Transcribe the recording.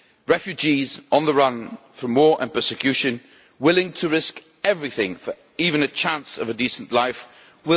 Refugees, on the run from war and persecution, willing to risk everything for even the chance of a decent life, will continue to flee.